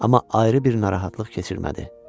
Amma ayrı bir narahatlıq keçirmədi.